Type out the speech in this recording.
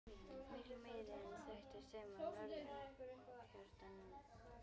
Miklu meiri en þekktist heima á norðurhjaranum.